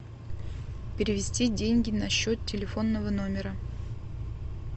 перевести деньги на счет телефонного номера